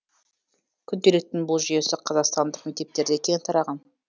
күнделіктің бұл жүйесі қазақстандық мектептерде кең тараған